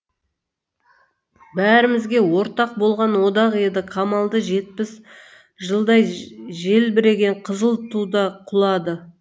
бәрімізге ортақ болған одақ еді қамалды жетпіс жылдай желбіреген қызыл туда құлады